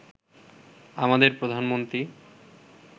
আমাদের প্রধানমন্ত্রী